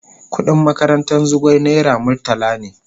Kudin makarantan Zugwai naira murtala ne.